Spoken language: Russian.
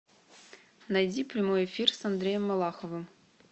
найди прямой эфир с андреем малаховым